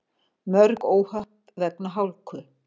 Mörg óhöpp vegna hálku